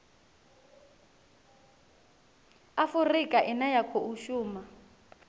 afurika ine ya khou shuma